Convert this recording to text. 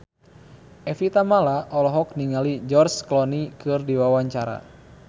Evie Tamala olohok ningali George Clooney keur diwawancara